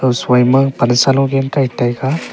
ho shoi ma pan saa lu gain kai taiga.